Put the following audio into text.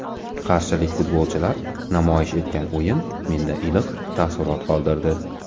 Qarshilik futbolchilar namoyish etgan o‘yin menda iliq taassurot qoldirdi.